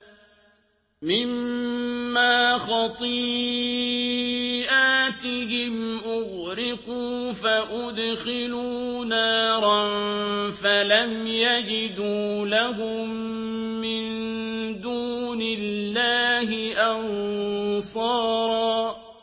مِّمَّا خَطِيئَاتِهِمْ أُغْرِقُوا فَأُدْخِلُوا نَارًا فَلَمْ يَجِدُوا لَهُم مِّن دُونِ اللَّهِ أَنصَارًا